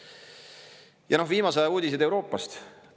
Ja noh, viimase aja uudised Euroopast.